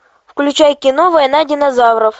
включай кино война динозавров